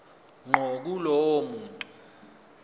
ngqo kulowo muntu